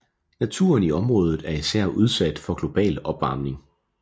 Naturen i området er især udsat for global opvarmning